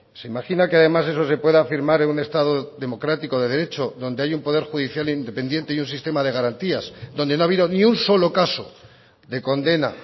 se imagina que además eso se pueda afirmar en un estado democrático de derecho donde hay un poder judicial independiente y un sistema de garantías donde no ha habido ni un solo caso de condena